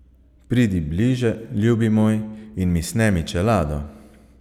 Pridi bliže, ljubi moj, in mi snemi čelado.